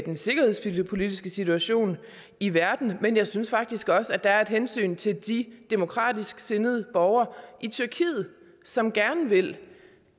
den sikkerhedspolitiske situation i verden men jeg synes faktisk også der er et hensyn til de demokratisk sindede borgere i tyrkiet som gerne vil